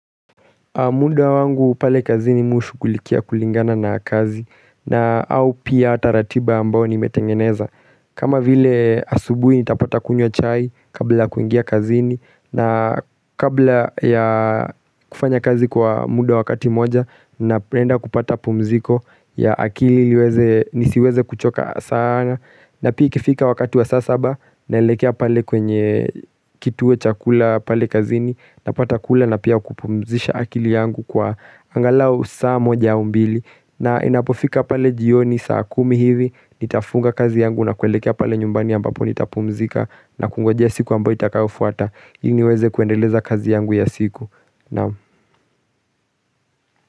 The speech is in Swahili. Muda wangu pale kazini mi hushughulikia kulingana na kazi na au pia ata ratiba ambao nimetengeneza. Kama vile asubui nitapata kunywa chai kabla ya kuingia kazini na kabla ya kufanya kazi kwa muda wakati moja na penda kupata pumziko ya akili nisiweze kuchoka sana na pia ikifika wakati wa saa saba naelekea pale kwenye kituwe cha kula pale kazini napata kula na pia kupumzisha akili. Mwili yangu kwa angalao saa moja ua mbili na inapofika pale jioni saa kumi hivi. Nitafunga kazi yangu na kuelekea pale nyumbani ambapo nitapumzika. Na kungoja siku ambayo itakayo fuata ili niweze kuendeleza kazi yangu ya siku. Naam.